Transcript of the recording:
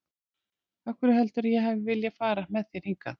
Af hverju heldurðu að ég hafi viljað fara með þér hingað?